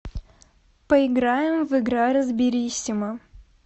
поиграем в игра разбериссимо